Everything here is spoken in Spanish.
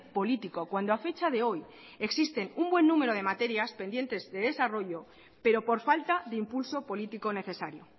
político cuando a fecha de hoy existen un buen número de materias pendientes de desarrollo pero por falta de impulso político necesario